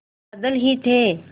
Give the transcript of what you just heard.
बादल ही थे